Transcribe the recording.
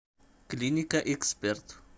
клиника эксперт